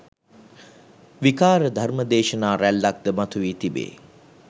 විකාර ධර්ම දේශනා රැල්ලක් ද මතු වී තිබේ